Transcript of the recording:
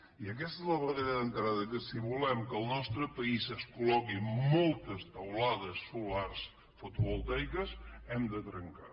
i aquesta és la barrera d’entrada que si volem que al nostre país es col·loquin moltes teulades solars foto·voltaiques hem de trencar